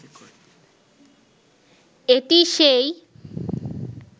এটি সেই